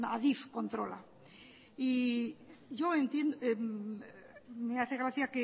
adif controla me hace gracia